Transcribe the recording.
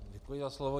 Děkuji za slovo.